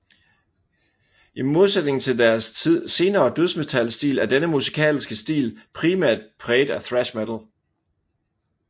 I mdosætningen til deres senere dødsmetalstil er denne musikalske stil primært præget af thrash metal